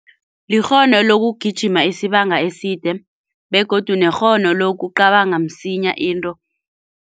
Likghono lokugijima isibanga eside begodu nekghono lokucabanga msinya into.